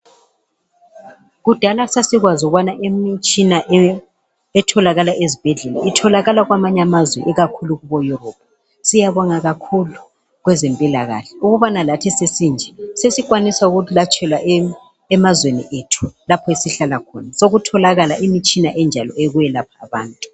Kudala sasikwazi ukubana imitshina etholakala ezibhedlela itholakala kwamanye amazwe ikakhulu kubo Europe siyabonga kakhulu kwabezempilakahle ukuba lathi sesinje sesilatshelwa emazweni ethu lapho esihlala khona sekutholakala imitshina enjalo yokwelapha abantu